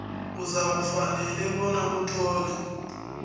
uzakufanele bona uthole